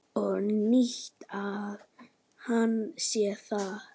Og nýtti hann sér það.